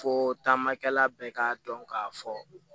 Fo taamakɛla bɛɛ k'a dɔn k'a fɔ